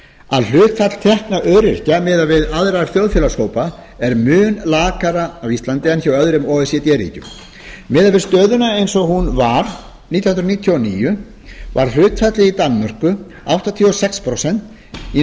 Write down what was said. að hlutfall tekna öryrkja miðað við aðra þjóðfélagshópa er mun lakari á íslandi en hjá öðrum o e c d ríkjum miðað við stöðuna eins og hún var nítján hundruð níutíu og níu var hlutfallið í danmörku áttatíu og sex prósent í